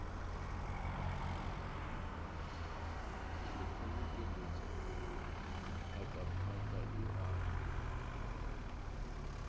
a ikgobokeletša phatlaphatla e a